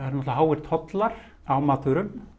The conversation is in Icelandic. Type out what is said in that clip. náttúrulega háir tollar á matvöru